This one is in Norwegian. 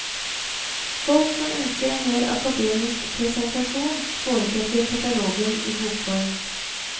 Folk som ønsker en mer akademisk presentasjon, foretrekker katalogen i bokform.